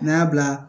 N y'a bila